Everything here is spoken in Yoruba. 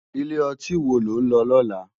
Ilé òtín wó ló n lò lòlá?